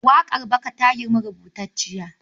Oral song is older than written poetry.